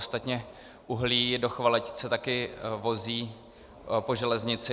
Ostatně uhlí do Chvaletic se taky vozí po železnici.